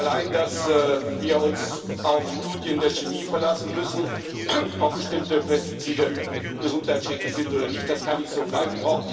Allein, dass wir uns auf Studien der Chemie darüber verlassen müssen, ob bestimmte Pestizide gesundheitsschädlich sind oder nicht das kann nicht so bleiben.